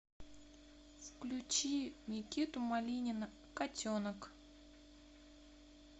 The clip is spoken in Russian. включи никиту малинина котенок